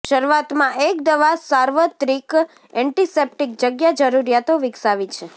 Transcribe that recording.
શરૂઆતમાં એક દવા સાર્વત્રિક એન્ટિસેપ્ટિક જગ્યા જરૂરિયાતો વિકસાવી છે